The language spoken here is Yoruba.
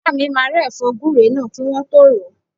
Ìyá mi máa rẹ́ ẹ̀fọ́ gúre náà kí wọ́n tọ́ ròó.